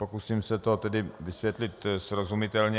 Pokusím se to tedy vysvětlit srozumitelně.